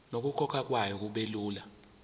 nokukhokhwa kwayo kubelula